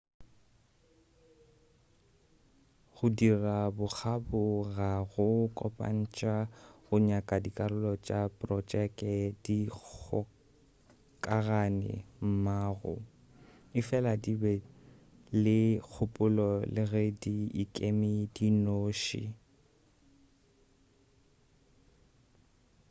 go dira bokgabo ga go kopantša go nyaka dikarolo tša projeke di kgokagane mmogo efela di be le kgopolo le ge di ikeme di nnoši